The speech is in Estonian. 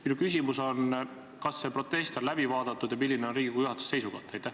Minu küsimus on järgmine: kas see protest on läbi vaadatud ja milline on Riigikogu juhatuse seisukoht?